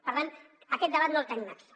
per tant aquest debat no el tenim aquí